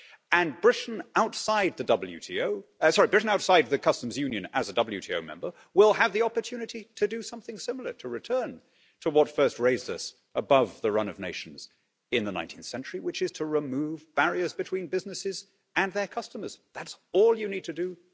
And Britain outside the customs union as a WTO member will have the opportunity to do something similar to return to what first raised us above the run of nations in the 19th century, which is to remove barriers between businesses and their customers. That's all you need to do